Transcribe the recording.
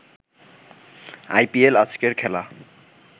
IPL আজকের খেলা